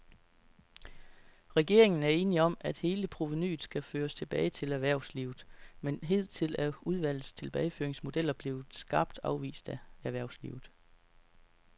Regeringen er enig om, at hele provenuet skal føres tilbage til erhvervslivet, men hidtil er udvalgets tilbageføringsmodeller blevet skarpt afvist af erhvervslivet.